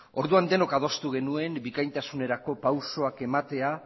orduan denok adostu genuen bikaintasunerako pausuak ematea